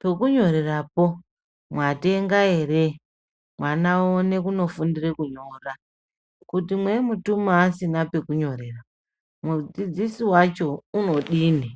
pekunyorerapo mwatenga ere mwana one kunofundire kunyora kana mweimutuma asine pekunyorera mudzidzisi wacho unodini.